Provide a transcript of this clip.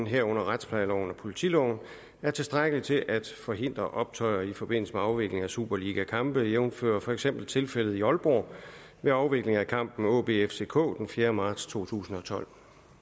herunder retsplejeloven og politiloven er tilstrækkelige til at forhindre optøjer i forbindelse med afvikling af superligakampe jævnfør for eksempel tilfældet i aalborg ved afvikling af kampen aab fck den fjerde marts 2012